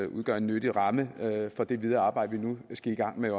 udgøre en nyttig ramme for det videre arbejde vi nu skal i gang med